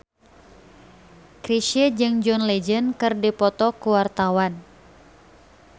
Chrisye jeung John Legend keur dipoto ku wartawan